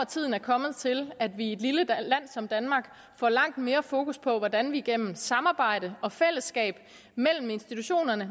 tiden er kommet til at vi i et lille land som danmark får langt mere fokus på hvordan vi gennem samarbejde og fællesskab mellem institutionerne